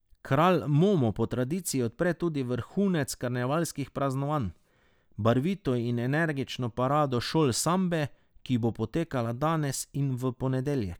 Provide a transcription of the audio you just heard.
Kralj Momo po tradiciji odpre tudi vrhunec karnevalskih praznovanj, barvito in energično parado šol sambe, ki bo potekala danes in v ponedeljek.